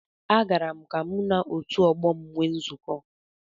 Agara m ka mụ na otu ọgbọ m nwee nzukọ